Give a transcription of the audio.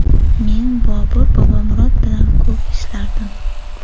Men Bobur Bobomurod bilan ko‘p ishlardim.